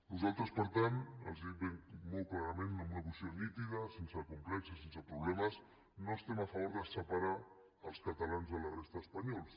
nosaltres per tant els ho dic molt clarament amb una posició nítida sense complexos sense problemes no estem a favor de separar els catalans de la resta d’espanyols